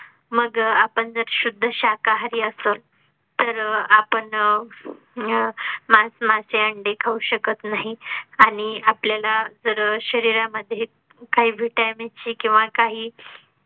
मग आपण अह जर शुद्ध शाकाहारी असोत तर आपण मांस, मासे, अंडे खाऊ शकत नाही आणि आपल्याला जर शरीरामध्ये काही vitamin ची किंवा काही.